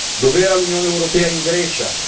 Dov'era l'Unione europea in Grecia?